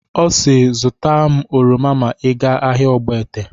Ọ si "Zụtara m oroma ma ị ga ahịa Ogbete."